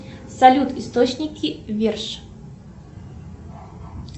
салют источники верш